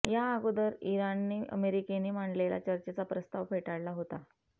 या अगोदर इराणने अमेरिकेने मांडलेला चर्चेचा प्रस्ताव फेटाळला होता